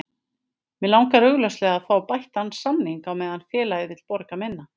Mig langar augljóslega að fá bættan samning á meðan félagið vill borga minna.